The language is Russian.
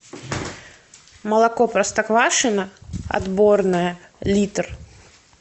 молоко простоквашино отборное литр